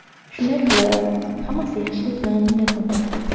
Shunday qilib, hammasi yaxshilik bilan yakun topdi.